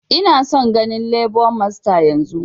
Ina son ganin lebo masta yanzun!